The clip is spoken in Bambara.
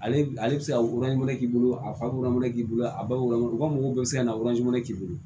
Ale ale bɛ se ka k'i bolo a falen k'i bolo a bakɔrɔni u ka mɔgɔw bɛ se ka k'i bolo